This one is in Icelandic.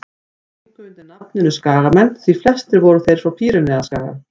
þeir gengu undir nafninu skagamenn því flestir voru þeir frá pýreneaskaga